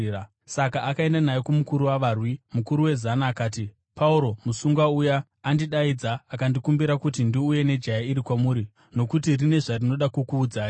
Saka akaenda naye kumukuru wavarwi. Mukuru wezana akati, “Pauro, musungwa uya, andidaidza akandikumbira kuti ndiuye nejaya iri, kwamuri nokuti rine zvarinoda kukuudzai.”